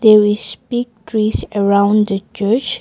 there is big trees around the church.